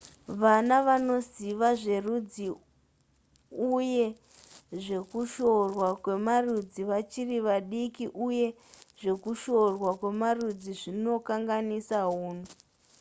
vana vanoziva zverudzi uye zvekushorwa kwemarudzi vachiri vadiki uye zvekushorwa kwemarudzi zvinokanganisa hunhu